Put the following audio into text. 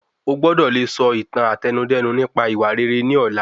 O gbọ́dọ̀ le sọ ìtàn Àtẹnudẹ́nu nípa ìwà rere ni ọ̀la.